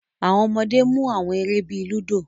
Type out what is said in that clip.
Awọn ọmọde mu awọn ere bii ludo